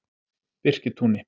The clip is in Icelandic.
Birkitúni